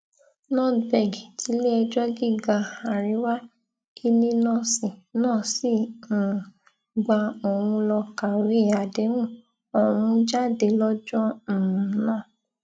nordberg tilé ẹjọ gíga àríwá illinois náà sì um gba òun lọ kàwé àdéhùn ọhún jáde lọjọ um náà